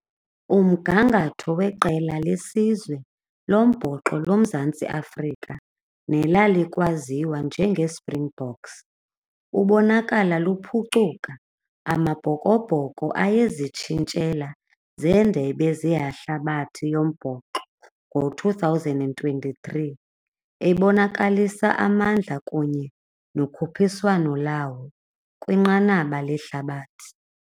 Umgangatho weqela lesizwe lombhoxo loMzantsi Afrika nelalikwaziwa njengeSpringboks ubonakala luphucuka. Amabhokobhoko ayezitshintshela zeendebe zehlabathi yombhoxo ngo-two thousand and twenty-three ebonakalisa amandla kunye nokhuphiswano lawo kwinqanaba lehlabathi.